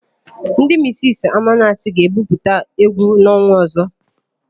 Ndị misisi Amanachi ga-ebupụta égwú n'ọnwa ọ̀zọ́.